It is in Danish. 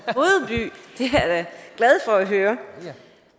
glad for at høre